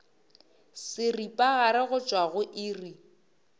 seripagare go tšwa go iri